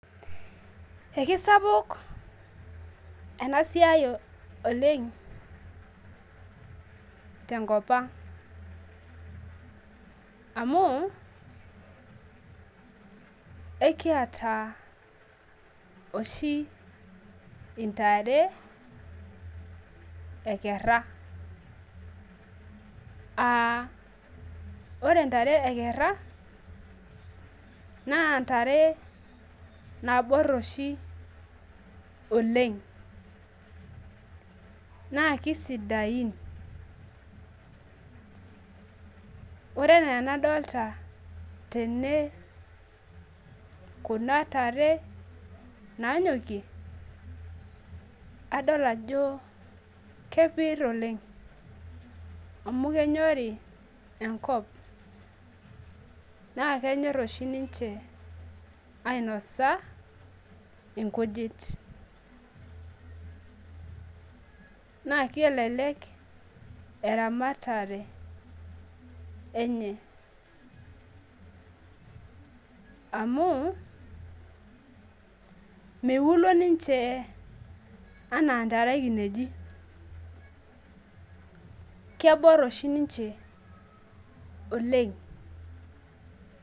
ekisapuk enasiai oleng tenkopang' amu ekiyata oshi intare ekera aa ore intare ekera naa intare naabor oshi oleng' naa kisidain, ore enaa enadolta saii tene naa nyokiie adol ajo kepir oleng' amu kenyori enkop naa kenyor oshi niche, ainosa inkujit naa kelek eramatare enye amu miwulo niche enaa intare ekineji kebor oshi niche oleng'.